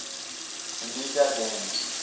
amiga games